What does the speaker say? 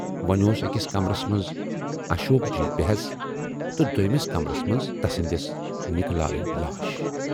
وۅنۍ اوس ٲکِس کمرس منز اشوک جی بے حٮ۪س تہٕ دویمِس کمرس منز تسٕندِس نِکہٕ لالٕنۍ لاش۔